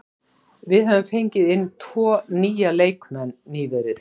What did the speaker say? Við höfum fengið inn tvo nýja leikmenn nýverið.